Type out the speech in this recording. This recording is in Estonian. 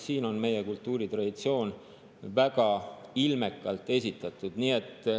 Siin on meie kultuuritraditsioon väga ilmekalt esitatud.